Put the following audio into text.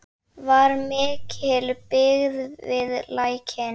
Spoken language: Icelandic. Var mikil byggð við Lækinn?